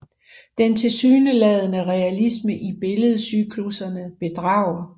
Den tilsyneladende realisme i billedcyklusserne bedrager